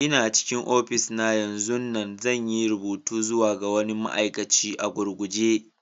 Ina cikin ofishi na yanzun nan, zan yi rubutu zuwa ga wani ma'aikaci a gurguje.